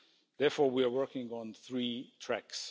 Therefore, we are working on three tracks.